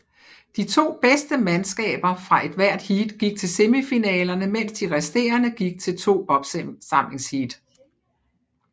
De to bedste mandskaber fra hvert heat gik til semifinalerne mens de resterende gik til to opsamlingsheat